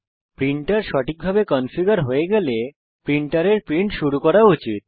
printer সঠিকভাবে configure হয়ে থাকলে প্রিন্টারের প্রিন্ট শুরু করা উচিত